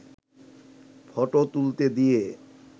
photo তুলতে দিয়ে